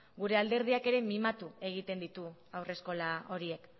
gure alderdiak ere mimatu egiten ditu haurreskola horiek